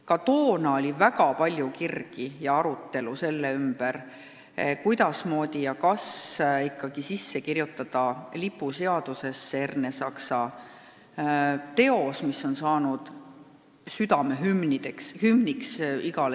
Ka toona oli väga palju kirgi ja arutelusid selle ümber, kuidas ja kas ikkagi kirjutada lipuseadusesse Ernesaksa teos, mis on saanud igale eestlasele südamehümniks.